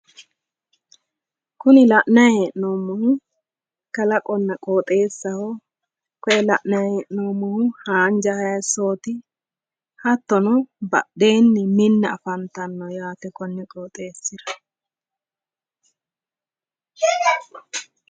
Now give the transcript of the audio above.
Kuni la'nayi hee'noommohu kalaqonna qooxeessaho. Koye la'nayi hee'noommohu haanja hayissooti. Hattono badheenni minna afantanno yaate konni qooxeessira.